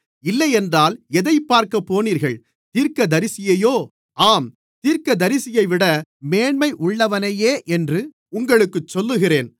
இல்லையென்றால் எதைப்பார்க்கப் போனீர்கள் தீர்க்கதரிசியையோ ஆம் தீர்க்கதரிசியைவிட மேன்மையுள்ளவனையே என்று உங்களுக்குச் சொல்லுகிறேன்